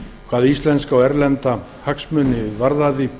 hvað íslenska og erlenda hagsmuni varðaði